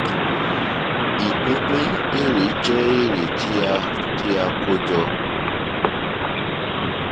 ìpínpín èrè jẹ èrè tí a tí a kó jọ